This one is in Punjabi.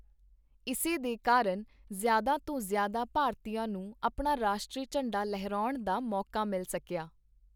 ਇਸੇ ਦੇ ਕਾਰਨ ਜ਼ਿਆਦਾ ਤੋਂ ਜ਼ਿਆਦਾ ਭਾਰਤੀਆਂ ਨੂੰ ਆਪਣਾ ਰਾਸ਼ਟਰੀ ਝੰਡਾ ਲਹਿਰਾਉਣ ਦਾ ਮੌਕਾ ਮਿਲ ਸਕਿਆ।